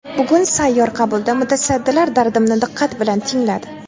Bugun sayyor qabulda mutasaddilar dardimni diqqat bilan tingladi.